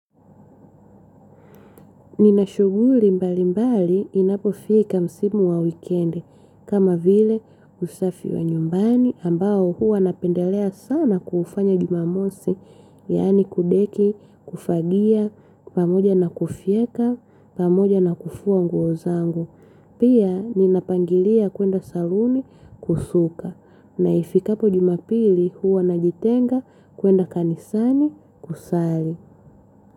Nina shughuli mbali mbali inapofika msimu wa wikendi. Kama vile usafi wa nyumbani ambao huwa napendelea sana kuufanya jumamosi. Yaani kudeki, kufagia, pamoja na kufyeka, pamoja na kufua nguo zangu. Pia ninapangilia kuenda saluni kusuka. Na ifikapo jumapili huwa najitenga kuenda kanisani kusali.